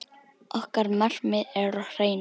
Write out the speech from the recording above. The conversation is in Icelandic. Okkar markmið er á hreinu.